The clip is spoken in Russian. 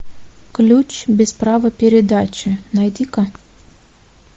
ключ без права передачи найди ка